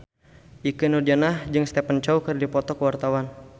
Ikke Nurjanah jeung Stephen Chow keur dipoto ku wartawan